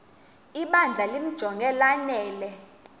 ibandla limjonge lanele